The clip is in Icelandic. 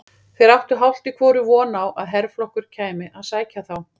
Þeir áttu hálft í hvoru von á að herflokkur kæmi að sækja þá.